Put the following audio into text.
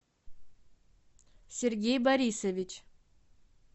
сергей борисович